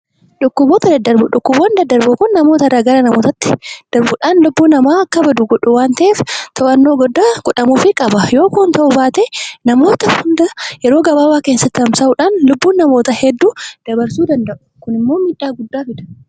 Dhukkuboota daddarboo, dhukkuboonni daddarboon kun namoota gara namootaatti daddarbuudhaan lubuun namaa akka badu godhu waan ta'eef to'annoo guddaan godhamuufii qaba yoo kun hin ta'uu baate namoota hunda yeroo gabaabaa keessatti tamsa'uudhaan lubbuun namoota hedduu dabarsuu danda'u kunimmoo miidhaa guddaa fida.